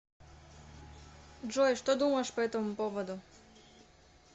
джой что думаешь по этому поводу